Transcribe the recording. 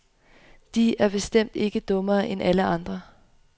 De er bestemt ikke dummere end alle andre.